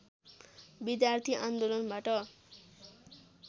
विद्यार्थी आन्दोलनबाट